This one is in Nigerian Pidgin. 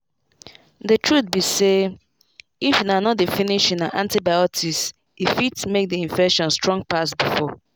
the truth be sayhalt if una no dey finish una antibiotics e fit make the infection strong pass before.